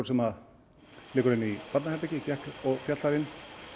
sem liggur inn í barnaherbergi féll þar inni